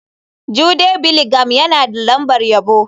Jude Bellingham yana da lambar yabo.